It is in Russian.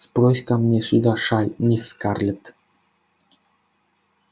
сбрось-ка мне сюда шаль мисс скарлетт